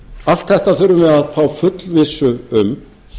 allt þetta þurfum við að fá fullvissu um